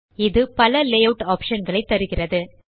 இது பல layout option களை தருகிறது